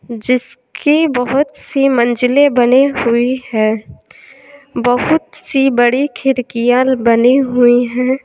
जिसकी बहुत सी मंजिलें बनी हुई हैं बहुत सी बड़ी खिड़कियां बनी हुई हैं।